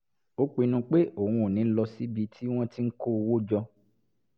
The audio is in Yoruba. ó pinnu pé òun ò ní lọ síbi tí wọ́n ti ń kó owó jọ